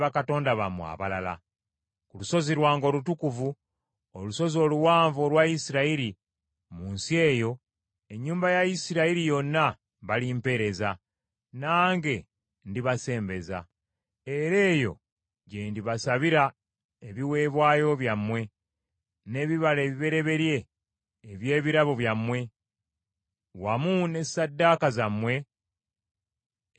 Ku lusozi lwange olutukuvu, olusozi oluwanvu olwa Isirayiri mu nsi eyo, ennyumba ya Isirayiri yonna balimpeereza, nange ndibasembeza. Era eyo gye ndibasabira ebiweebwayo byammwe, n’ebibala ebibereberye eby’ebirabo byammwe, wamu ne ssaddaaka zammwe ezitukuzibbwa.